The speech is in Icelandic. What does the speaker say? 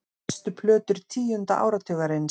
Bestu plötur tíunda áratugarins